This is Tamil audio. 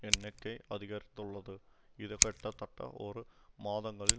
எண்ணிக்கை அதிகரித்துள்ளது இது கிட்டத்தட்ட இரு மாதங்களில்